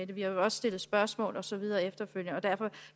det vi har jo også stillet spørgsmål og så videre efterfølgende og derfor